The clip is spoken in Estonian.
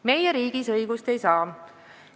Meie riigis õigust ei saa.